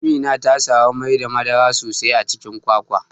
Amina tasamu Mai da madara sosai a Cikin kwakwa.